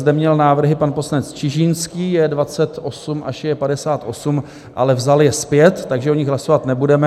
Zde měl návrhy pan poslanec Čižinský - J.28 až J.58, ale vzal je zpět, takže o nich hlasovat nebudeme.